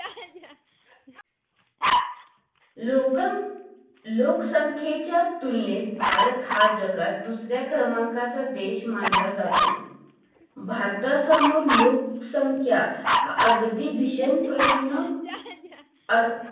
लोक लोकसंख्येच्या तुलनेत भारत हा जगात दुसऱ्या क्रमांकाचा देश मानलं जातो भारत समोर लोकसंख्या हा अगदी भीषण प्रश्न आ